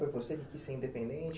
Foi você que quis ser independente?